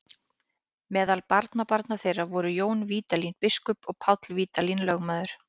Meðal barnabarna þeirra voru Jón Vídalín biskup og Páll Vídalín lögmaður.